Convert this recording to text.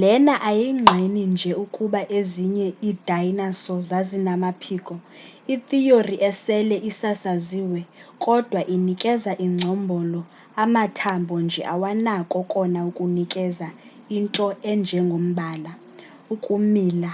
lena ayingqini nje ukuba ezinye iidayinaso zazinamaphiko itheory esele isasaziwe kodwa inikeza ingcombolo amathambo nje awanako kona ukunikeza ,into enjengombala ukumila